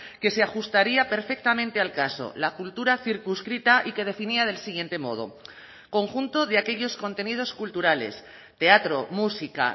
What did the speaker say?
que se ajustaría perfectamente al caso la cultura circunscrita y que definía del siguiente modo conjunto de aquellos contenidos culturales teatro música